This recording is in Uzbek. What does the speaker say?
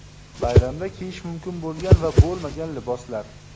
Bayramda kiyish mumkin bo‘lgan va bo‘lmagan liboslar.